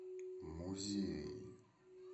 музеи